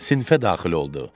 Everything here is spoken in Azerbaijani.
Sinifə daxil oldu.